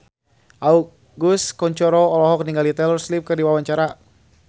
Agus Kuncoro olohok ningali Taylor Swift keur diwawancara